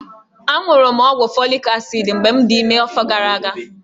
Aṅụrụ m ọgwụ folik asid mgbe m dị ime n'afọ gara aga.